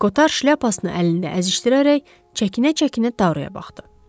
Qotar şlyapasını əlində əzişdirərək, çəkinə-çəkinə Taruya baxdı.